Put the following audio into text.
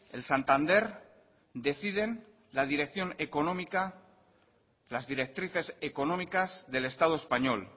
el santander deciden la dirección económica las directrices económicas del estado español